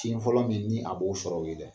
Tin fɔlɔ min ni a b'o sɔrɔ ye o ye dɛ